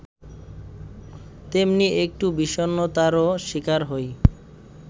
তেমনি একটু বিষণ্নতারও শিকার হই